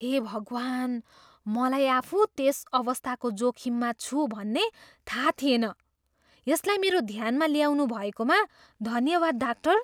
हे भगवान्! मलाई आफू त्यस अवस्थाको जोखिममा छु भन्ने थाहा थिएन। यसलाई मेरो ध्यानमा ल्याउनु भएकोमा धन्यवाद, डाक्टर।